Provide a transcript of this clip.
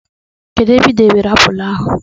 Kedụ ebe ị debere apụl ahụ?